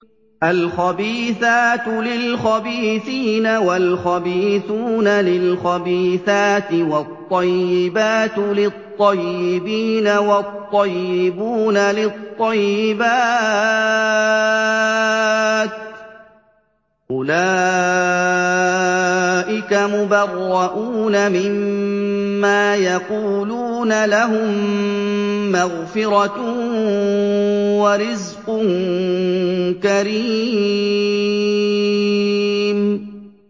الْخَبِيثَاتُ لِلْخَبِيثِينَ وَالْخَبِيثُونَ لِلْخَبِيثَاتِ ۖ وَالطَّيِّبَاتُ لِلطَّيِّبِينَ وَالطَّيِّبُونَ لِلطَّيِّبَاتِ ۚ أُولَٰئِكَ مُبَرَّءُونَ مِمَّا يَقُولُونَ ۖ لَهُم مَّغْفِرَةٌ وَرِزْقٌ كَرِيمٌ